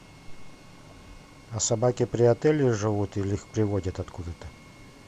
а собаки при отеле живут или их приводят откуда то